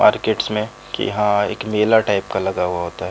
Markets में कि यहाँ एक मेला टाइप का लगा हुआ होता है।